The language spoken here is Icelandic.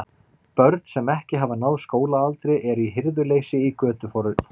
Börn, sem ekki hafa náð skólaaldri, eru í hirðuleysi í götuforinni.